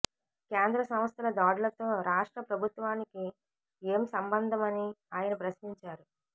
కేంద్ర సంస్థల దాడులతో రాష్ట్ర ప్రభుత్వానికి ఏం సంబంధమని ఆయన ప్రశ్నించారు